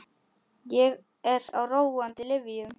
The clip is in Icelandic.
Ég er á róandi lyfjum.